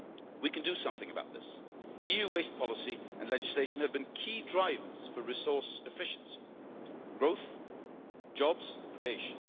We can do something about this. EU waste policy and legislation have been key drivers for resource efficiency, growth and job creation.